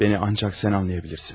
Məni ancaq sən anlayabilirsin.